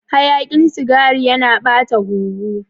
Hayakin sigari yana ɓata huhu.